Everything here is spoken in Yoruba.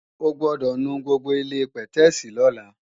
O gbọ́dọ̀ nu gbogbo ilé-pẹ̀tẹ́èsì lọ́la!